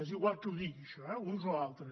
és igual qui ho di·gui això eh uns o altres